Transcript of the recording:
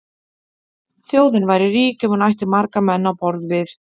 Þjóðin væri rík ef hún ætti marga menn á borð við